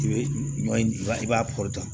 I bɛ ɲɔ in i b'a kɔ ta